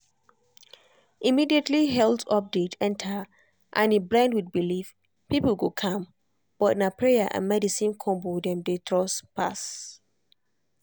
immediately health update enter and e blend with belief people go calm but na prayer and medicine combo dem dey trust pass.